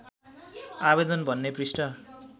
आवेदन भन्ने पृष्ठ